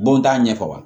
Bon t'a ɲɛfɔ wa